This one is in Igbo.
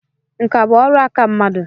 Nkà bụ ọrụ aka mmadụ.